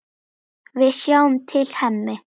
Við sjáum til, Hemmi.